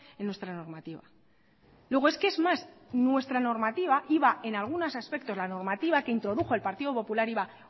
en nuestra normativa luego es que es más nuestra normativa iba en algunos aspectos la normativa que introdujo el partido popular iba